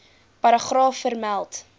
paragraaf vermeld